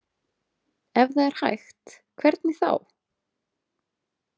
Ef það er hægt, hvernig þá?